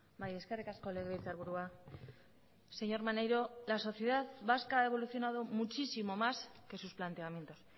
bai eskerrik asko legebiltzarburua señor maneiro la sociedad vasca ha evolucionado muchísimo más que sus planteamientos